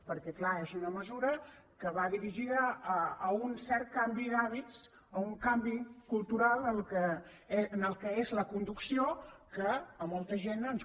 perquè clar és una mesura que va dirigida a un cert canvi d’hàbits o un canvi cultural en allò que és la conducció que a molta gent ens